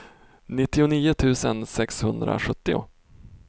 nittionio tusen sexhundrasjuttio